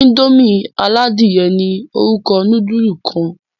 Indomie àlà Adìye ní orúkọ nudulu kán